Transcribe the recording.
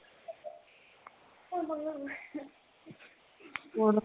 ਬੋਲ